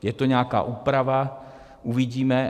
Je tu nějaká úprava, uvidíme.